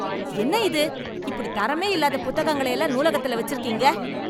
என்ன இது. இப்படி தரமே இல்லாத புத்தகங்களை எல்லாம் நூலகத்துல வெச்சுருக்கீங்க.